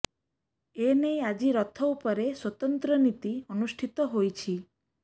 ଏ ନେଇ ଆଜି ରଥ ଉପରେ ସ୍ବତନ୍ତ୍ର ନୀତି ଅନୁଷ୍ଠିତ ହୋଇଛି